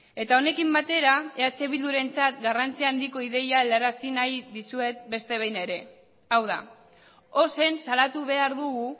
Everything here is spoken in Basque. eta honekin batera eh bildurentzat garrantzi handiko ideia aldarazi nahi dizuet beste behin ere hau da ozen salatu behar dugu